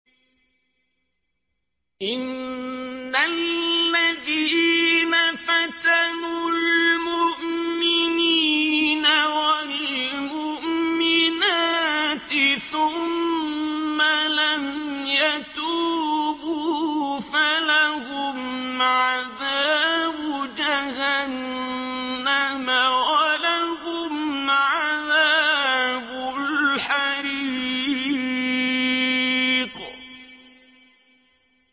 إِنَّ الَّذِينَ فَتَنُوا الْمُؤْمِنِينَ وَالْمُؤْمِنَاتِ ثُمَّ لَمْ يَتُوبُوا فَلَهُمْ عَذَابُ جَهَنَّمَ وَلَهُمْ عَذَابُ الْحَرِيقِ